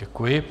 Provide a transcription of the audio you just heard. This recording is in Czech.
Děkuji.